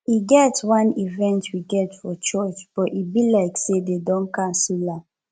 e get wan event we get for church but e be like say dey don cancel am